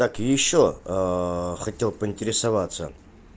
так и ещё хотел поинтересоваться